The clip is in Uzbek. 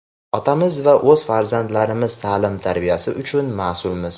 otamiz va o‘z farzandlarimiz taʼlim-tarbiyasi uchun masʼulmiz.